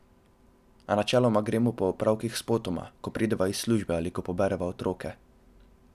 A načeloma gremo po opravkih spotoma, ko prideva iz službe ali ko pobereva otroke.